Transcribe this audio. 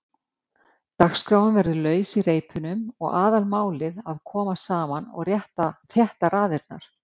Dagskráin verður laus í reipunum og aðalmálið að koma saman og þétta raðirnar.